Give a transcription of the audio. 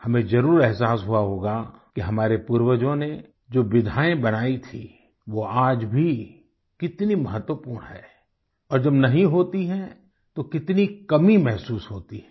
हमें जरुर एहसास हुआ होगा कि हमारे पूर्वजों ने जो विधायें बनाई थी वो आज भी कितनी महत्वपूर्ण हैं और जब नहीं होती हैं तो कितनी कमी महसूस होती है